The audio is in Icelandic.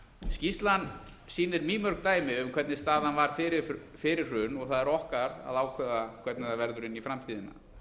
skýrslan sýnir mýmörg dæmi um hvernig staðan var fyrir hrun og það er okkar að ákveða hvernig það verður inn í framtíðina